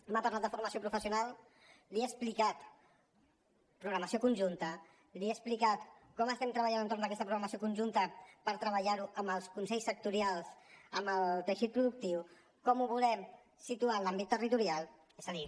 m’ha parlat de formació professional li he explicat programació conjunta li he explicat com estem treballant entorn d’aquesta programació conjunta per treballar ho amb els consells sectorials amb el teixit productiu com ho volem situar en l’àmbit territorial és a dir